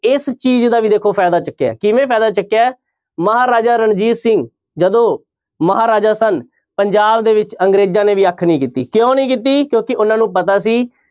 ਇਸ ਚੀਜ਼ ਦਾ ਵੀ ਦੇਖੋ ਫ਼ਾਇਦਾ ਚੁੱਕਿਆ ਹੈ ਕਿਵੇਂ ਫ਼ਾਇਦਾ ਚੁੱਕਿਆ ਹੈ ਮਹਾਰਾਜਾ ਰਣਜੀਤ ਸਿੰਘ ਜਦੋਂ ਮਹਾਰਾਜਾ ਸਨ ਪੰਜਾਬ ਦੇ ਵਿੱਚ ਅੰਗਰੇਜ਼ਾਂ ਨੇ ਵੀ ਅੱਖ ਨੀ ਕੀਤੀ, ਕਿਉਂ ਨੀ ਕੀਤੀ? ਕਿਉਂਕਿ ਉਹਨਾਂ ਨੂੰ ਪਤਾ ਸੀ